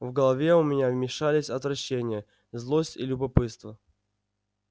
в голове у меня мешались отвращение злость и любопытство